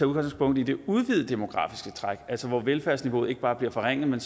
udgangspunkt i det udvidede demografiske træk altså hvor velfærdsniveauet ikke bare bliver forringet men